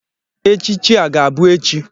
Echichi a ga-abụ echi.